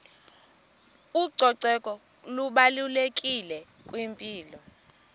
ucoceko lubalulekile kwimpilo